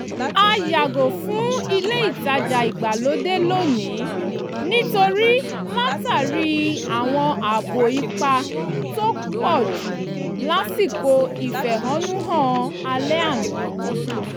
a yàgò fún ilé ìtajà ìgbàlódé lónìí nítorí látàrí àwọn ààbọ̀ ipá tó pọ̀jù lásìkò ìfẹ̀hónúhàn alẹ́ àná